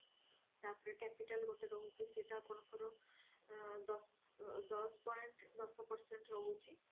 ତାପରେ capital ଗୋଟେ ରହୁଛି ସେଟା ଆପଣଙ୍କର ଦଶ point ଦଶ percent ରହୁଛି